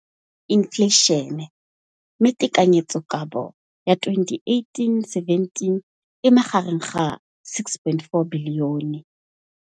Infleišene, mme tekanyetsokabo ya 2017, 18, e magareng ga R6.4 bilione.